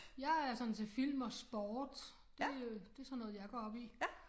Jeg er sådan til film og sport. Det øh det sådan noget jeg går op i